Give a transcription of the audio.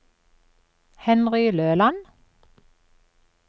Henry Løland